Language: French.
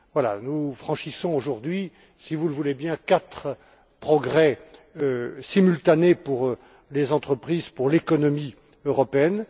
Voilà, nous franchissons aujourd'hui, si vous le voulez bien, quatre étapes simultanées pour les entreprises et pour l'économie européenne.